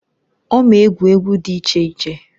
Ọ m'egwu egwu dị iche iche.